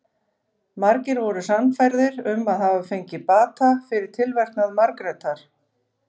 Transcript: Margir voru sannfærðir um að hafa fengið bata fyrir tilverknað Margrétar.